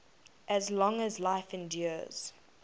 as long as life endures